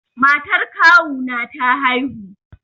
Matar kawu na ta haihu.